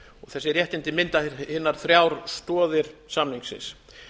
þessi réttindi mynda hinar þrjár stoðir samningsins